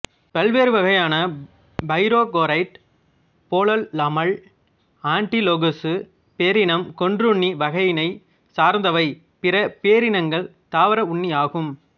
பல்வேறு வகையான பைரோகோரைட் போலல்லாமல் ஆண்டிலோகசு பேரினம் கொன்றுண்ணி வகையினைச் சார்ந்தவை பிற பேரினங்கள் தாவர உண்ணியாகும்